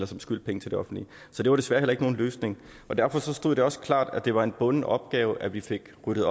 som skyldte penge til det offentlige så det var desværre heller ikke nogen løsning og derfor stod det også klart at det var en bunden opgave at vi fik ryddet